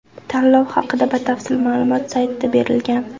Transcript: Tanlov haqida batafsil ma’lumot saytda berilgan.